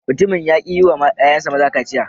Mutumin ya ki yi wa ‘ƴa’ƴansa maza kaciya.